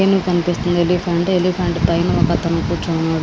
ఏనుగు కనిపిస్తుంది elephant elephant పైన ఒక్క అతను కూర్చొని ఉన్నాడు.